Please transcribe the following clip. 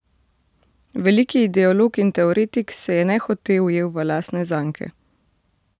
Veliki ideolog in teoretik se je nehote ujel v lastne zanke.